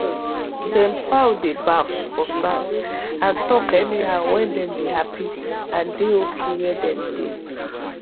dem fowl dey baff for sand and talk any how wen dem dey happy and dey ok where dem dey